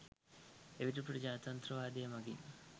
එවිට ප්‍රජාතන්ත්‍රවාදය මගින්